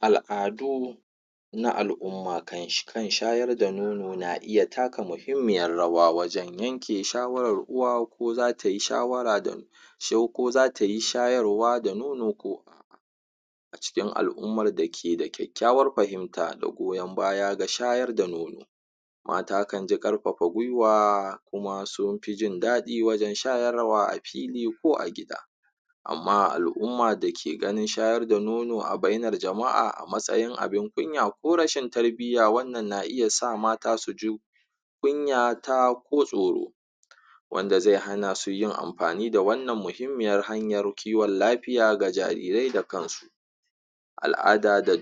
al'adu na al'umma kan shayar da nono na iya taka muhimmiyar rawa wajan yanke shawarar uwa ko zatayi shawara ko zatayi shayarwa da nono a cikin al'ummar dake da ƙyaƙyawar fahimta da goyan baya da shayar da nono mata kanji ƙarfafa gwiwa kuma sufi jindaɗi wajan shayarwa a fili ko a gida amma al'umma dake ganin shayarwa da nono a bainar jama'a a matsayin abun kunya ko rashin tarbiyya wannan na iya sa mata suji kunyata ko tsoro wanda zai hanasu yin amfani da wannan muhimmiyar hanyar kiwan lafiya ga jarirai da kansu al'ada da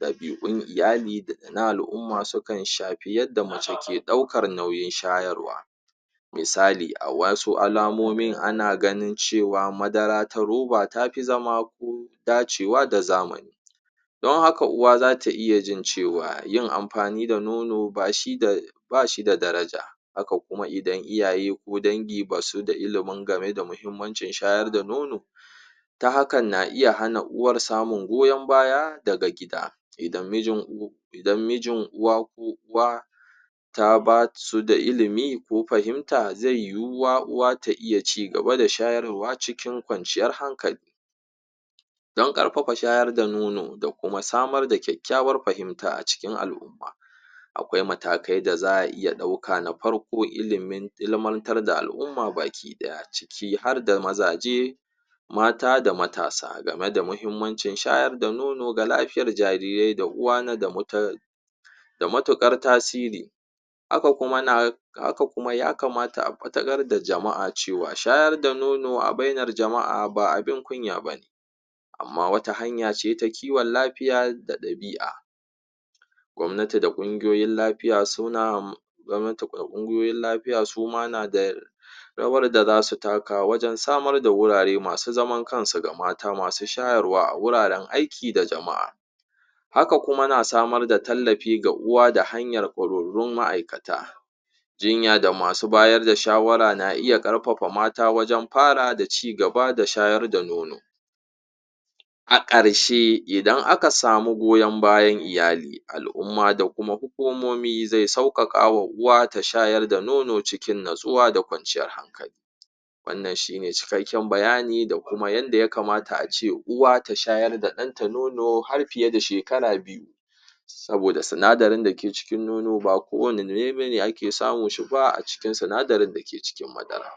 ɗabi'un iyali daga na al'umma sukan shafi yadda mace ke ɗaukar nauyin shayarwa misali a wasu alamomin ana ganin cewa madara ta ruba tafi zama dacewa da zamani don haka uwa zata iya jin cewa yin amfani da nono bashida daraja haka kuma idan iyaye ko dangi basu da ilimin game da muhimmancin shayar da nono ta haka na iya hana uwar samun goyan baya daga gida idan mijin uwa ko uba basu da ilimi ko fahimta zai yuwuwa uwa ta iya cigaba da shayarwa cikin ƙwanciyar hankali dan ƙarfafa shayar da nono da kuma samar da ƙyaƙyawar fahimta a cikin al'umma aƙwai matakai da za a iya ɗauka na farko ilmantar da al'umma baki ɗaya ciki harda mazaje mata da matasa game da muhimmancin shayar da nono ga lafiyar jarirai da uwa da mutuƙar tasiri haka kuma ya kamata a fatakar da jama'a cewa shayar da nono a bainar jama'a ba abin kunya bane amma wata hanyace ta kiwan lafiya da ɗabi'a gwamnati da kungiyoyin lafiya suma na da rawar da zasu taka wajan samar da gurare masu zaman kansu ga mata masu shayarwa a wuraran aiki da jama'a haka kuma na samar da tallafi ga uwa da hanyar ƙwararrun ma'aikata jinya da masu ba yarda shawara na iya ƙarfafa mata wajan fara da cigaba da shayar da nono a ƙarshe idan aka samu goyan bayan iyali al'umma da kuma hukumomi zai sauƙaƙawa uwa ta shayar da nono cikin nutsuwa da ƙwanciyar hankali wannan shine cikakkin bayani da kuma yanda ya kamata ace uwa ta shayar da ɗanta nono har fiye da shekara biyu saboda sinadarin dake cikin nono ba kowanne nurai bane ake samun shiba a cikin sinadarin dake cikin madara